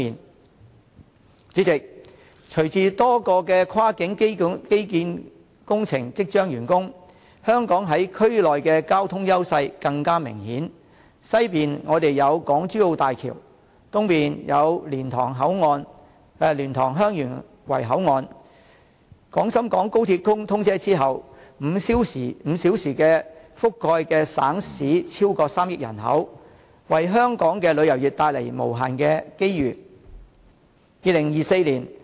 代理主席，隨着多個跨境基建工程即將完工，香港在區內的交通優勢更明顯，西面有港珠澳大橋，東面有蓮塘/香園圍口岸，在廣深港高鐵通車之後 ，5 小時覆蓋的省市將超過3億人口，為香港的旅遊業帶來無限機遇。